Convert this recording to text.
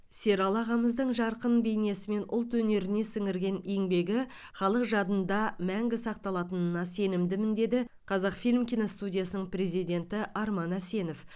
сералы ағамыздың жарқын бейнесі мен ұлт өнеріне сіңірген еңбегі халық жадында мәңгі сақталатынына сенімдімін деді қазақфильм киностудиясының президенті арман әсенов